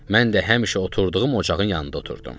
Mən də həmişə oturduğum ocağın yanında oturdum.